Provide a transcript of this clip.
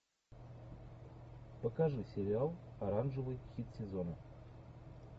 покажи сериал оранжевый хит сезона